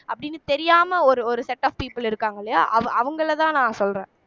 அப்படினு தெரியாம ஒரு ஒரு set of people இருக்காங்க இல்லையா அவங் அவங்களைதான் நான் சொல்றேன்